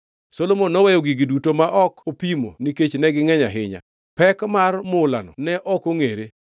Solomon noweyo gigi duto ma ok opimo nikech negingʼeny ahinya, pek mar mulano ne ok ongʼere.